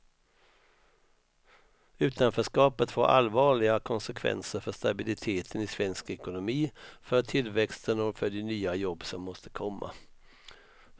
Utanförskapet får allvarliga konsekvenser för stabiliteten i svensk ekonomi, för tillväxten och för de nya jobb som måste komma.